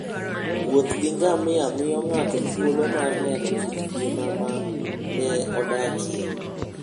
Wuoth gi ngamia miyo ng'ato thuolo mar neno kit ngima ma ne odakie.